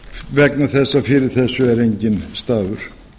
vegna þess að fyrir þessu er enginn stafur